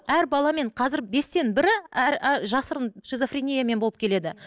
әр баламен қазір бестен бірі жасырын шизофрениямен болып келеді